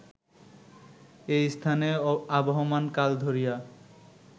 এই স্থানে আবহমান কাল ধরিয়া